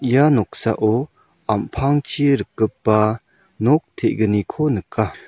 ia noksao am·pangchi rikgipa nok te·gniko nika.